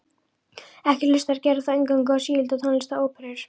Ekki hlustar Gerður þó eingöngu á sígilda tónlist og óperur.